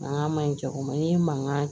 An ka ɲi cɛkɔrɔba ye mankan